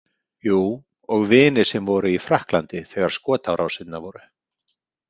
Jú, og vini sem voru í Frakklandi þegar skotárásirnar voru.